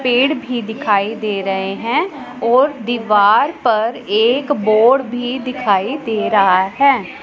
पेड़ भी दिखाई दे रहे हैं और दीवार पर एक बोर्ड भी दिखाई दे रहा हैं।